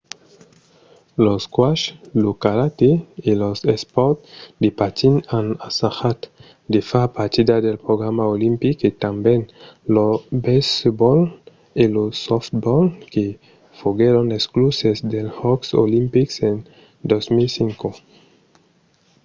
lo squash lo karate e los espòrts de patins an assajat de far partida del programa olimpic e tanben lo baseball e lo softball que foguèron excluses dels jòcs olimpics en 2005